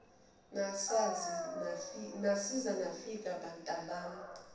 nasiza nafika bantabami